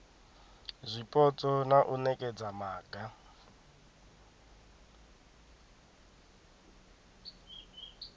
zwipotso na u nekedza maga